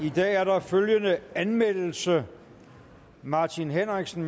i dag er der følgende anmeldelse martin henriksen